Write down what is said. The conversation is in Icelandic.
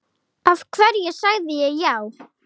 Af hverju sagði ég já?